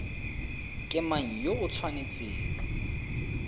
ke mang yo o tshwanetseng